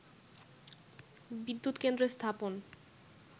বিদ্যুৎ কেন্দ্র স্থাপন